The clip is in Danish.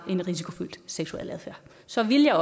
en risikofyldt seksuel adfærd så ville